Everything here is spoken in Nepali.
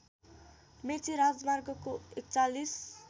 मेची राजमार्गको ४१